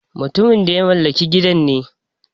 Mutumin da ya mallaki gidan ne.